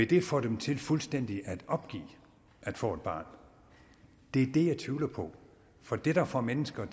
det vil få dem til fuldstændig at opgive at få et barn det er det jeg tvivler på for det der får mennesker